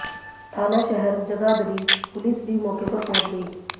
थाना शहर जगाधरी पुलिस भी मौके पर पहुंच गई